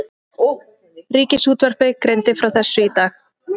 Ríkisútvarpið greindi frá þessu í dag